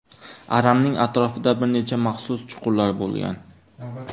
Aranning atrofida bir necha maxsus chuqurlar bo‘lgan.